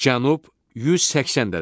Cənub 180 dərəcə.